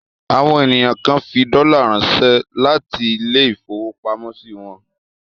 Àwọn ènìyàn kan fi dọ́là ránṣẹ́ láti ilé-ìfowópamọ́sí wọn.